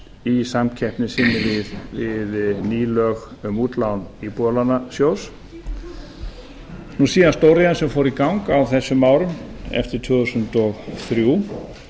í samkeppni sinni við ný lög um útlán íbúðalánasjóðs og síðan stóriðjan sem fór í gang á þessum árum eftir tvö þúsund og þrjú